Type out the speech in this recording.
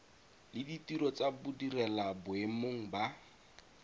le ditiro tsa badirelaboemong ba